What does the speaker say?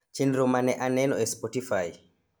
chenro ma ne aneno e Spotify